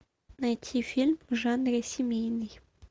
найти фильм в жанре семейный